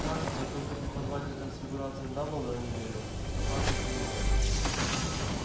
кажется только преподаватель трансфигурации дамблдор не верил что хагрид виновен